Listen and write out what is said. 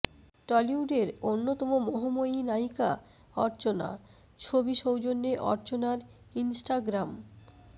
টলিউডের অন্যতম মোহময়ী নায়িকা অর্চনা ছবি সৌজন্যে অর্চনার ইনস্টাগ্রাম